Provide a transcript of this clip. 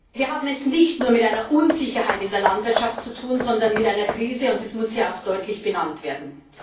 Wir haben es nicht nur mit einer Unsicherheit in der Landwirtschaft zu tun, sondern mit einer Krise, und das muss hier auch deutlich benannt werden.